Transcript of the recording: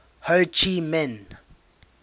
ho chi minh